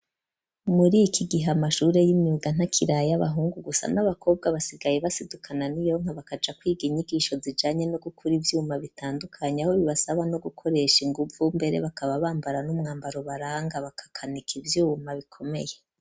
Muri ikigihe amashure y'imyuga ntakiri ay'abahungu gusa n'abakobwa basigaye basidukana niyonka bakaja kwiga inyigisho zijanye no gukora ivyuma bitandukanye aho bibasaba no gukoresha inguvu mbere bakaba bambara n'umwambaro baranga bakakanika ivyuma bikomeye.